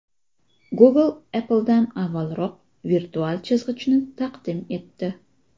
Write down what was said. Google Apple’dan avvalroq virtual chizg‘ichni taqdim etdi.